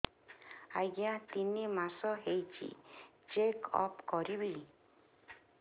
ଆଜ୍ଞା ତିନି ମାସ ହେଇଛି ଚେକ ଅପ କରିବି